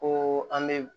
Ko an bɛ